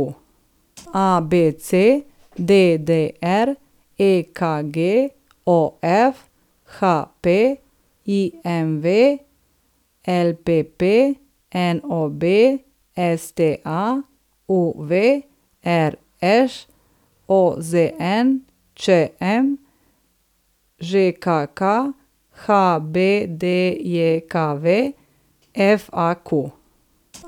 ABC, DDR, EKG, OF, HP, IMV, LPP, NOB, STA, UV, RŠ, OZN, ČM, ŽKK, HBDJKV, FAQ.